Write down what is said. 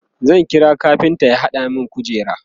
zan kira kafinta ya hada min kujera